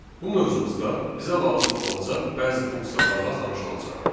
Bu mövzumuzda bizə lazım olacaq bəzi funksiyalarla tanış olacağıq.